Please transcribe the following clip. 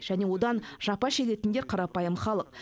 және одан жапа шегетіндер қарапайым халық